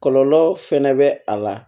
Kɔlɔlɔ fɛnɛ bɛ a la